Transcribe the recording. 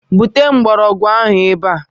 Bute mgbọrọgwụ ahụ ebe a!